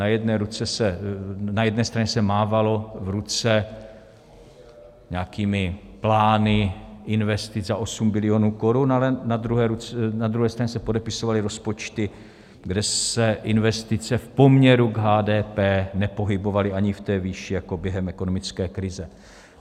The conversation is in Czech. Na jedné straně se mávalo v ruce nějakými plány investic za osm bilionů korun, ale na druhé straně se podepisovaly rozpočty, kde se investice v poměru k HDP nepohybovaly ani v té výši jako během ekonomické krize.